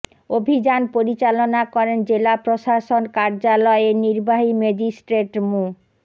অভিযান পরিচালনা করেন জেলা প্রশাসন কার্যালয়ের নির্বাহী ম্যাজিস্ট্রেট মো